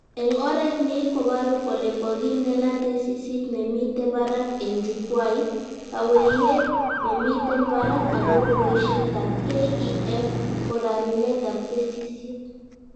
Eng oret ni kobaru kole kokindena tesisyit nemite barak eng jukwait, kaweihet nemiten barak akobo boishetab KEF korarunetab tesisyit